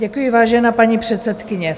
Děkuji, vážená paní předsedkyně.